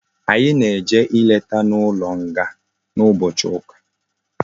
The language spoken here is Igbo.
Anyi na eje nleta na ulo nga na ubochi uka